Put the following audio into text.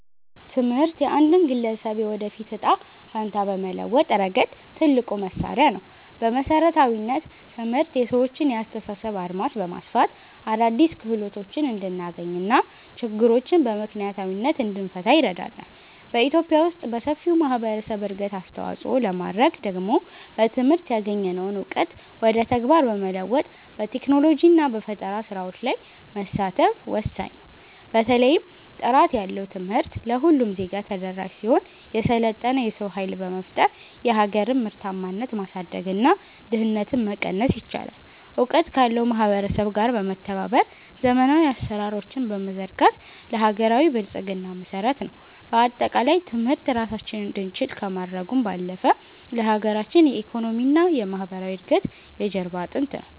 ትምህርት የአንድን ግለሰብ የወደፊት ዕጣ ፈንታ በመለወጥ ረገድ ትልቁ መሣሪያ ነው። በመሠረታዊነት፣ ትምህርት የሰዎችን የአስተሳሰብ አድማስ በማስፋት አዳዲስ ክህሎቶችን እንድናገኝና ችግሮችን በምክንያታዊነት እንድንፈታ ይረዳናል። በኢትዮጵያ ውስጥ ለሰፊው ማኅበረሰብ እድገት አስተዋፅኦ ለማድረግ ደግሞ በትምህርት ያገኘነውን እውቀት ወደ ተግባር በመለወጥ፣ በቴክኖሎጂና በፈጠራ ሥራዎች ላይ መሳተፍ ወሳኝ ነው። በተለይም ጥራት ያለው ትምህርት ለሁሉም ዜጋ ተደራሽ ሲሆን፣ የሰለጠነ የሰው ኃይል በመፍጠር የሀገርን ምርታማነት ማሳደግና ድህነትን መቀነስ ይቻላል። እውቀት ካለው ማኅበረሰብ ጋር በመተባበር ዘመናዊ አሠራሮችን መዘርጋት ለሀገራዊ ብልጽግና መሠረት ነው። በአጠቃላይ፣ ትምህርት ራሳችንን እንድንችል ከማድረጉም ባለፈ፣ ለሀገራችን የኢኮኖሚና የማኅበራዊ እድገት የጀርባ አጥንት ነው።